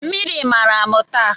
Mmiri mara m taa